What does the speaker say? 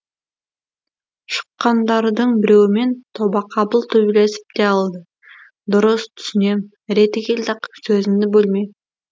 шыққандардың біреуімен тобақабыл төбелесіп те алды дұрыс түсінем реті келді ақ сөзімді бөлме